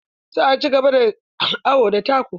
Za a cigaba da yin awo da taku.